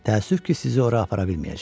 Təəssüf ki, sizi ora apara bilməyəcəyəm.